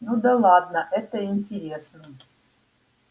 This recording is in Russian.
ну да ладно это интересно